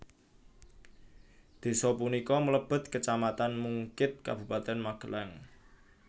Desa punika mlebet Kecamatan Mungkid Kabupaten Magelang